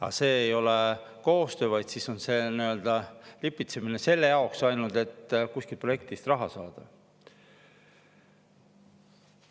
Aga see ei ole koostöö, vaid siis on see lipitsemine ainult selle jaoks, et kuskilt projektist raha saada.